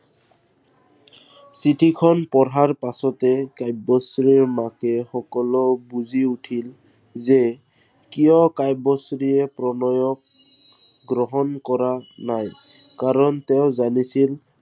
চিঠিখন পঢ়াৰ পাছতে কাব্যশ্ৰীৰ মাকে সকলো বুজি উঠিল যে, কিয় কাব্যশ্ৰীয়ে প্ৰণয়ক গ্ৰহণ কৰা নাই। কাৰন তেওঁ জানিছিল